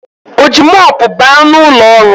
Ọ ji mopu baa n’ụlọọrụ?